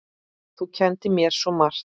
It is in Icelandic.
Þú kenndir mér svo margt.